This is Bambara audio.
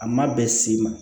A ma bɛn s'i ma